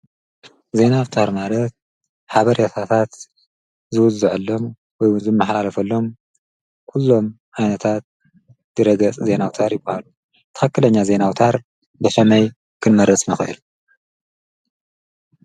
ዘይናውታር ማረት ሓበርያታታት ዝውዝዕሎም ወይ ውዝም መሕላለፈሎም ኲሎም ሓነታት ድረገጽ ዘይናውታር ይበሃሉ። ተኸክለኛ ዘይናውታር በከመይ ክንመረፅ ንኽእል?